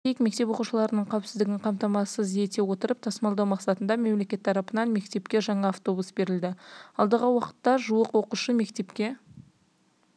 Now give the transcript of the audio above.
айта кетейік мектеп оқушыларының қауіпсіздігін қамтамасыз ете отырып тасымалдау мақсатында мемлекет тарапынан мектепке жаңа автобус берілді алдағы уақытта жуық оқушы мектепке